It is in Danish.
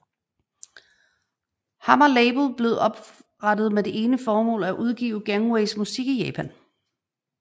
Hammer Label blev oprettet med det ene formål at udgive Gangways musik i Japan